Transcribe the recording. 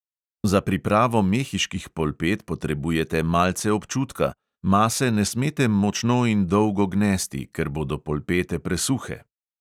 Za pripravo mehiških polpet potrebujete malce občutka: mase ne smete močno in dolgo gnesti, ker bodo polpete presuhe.